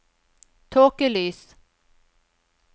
tåkelys